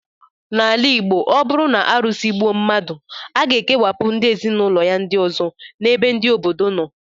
N'ala Igbo, ọ bụrụ na arụsị egbuo mmadụ, a ga-ekewapụ ndị ezinụlọ ya ndị ọzọ n' ebe ndị obodo nọ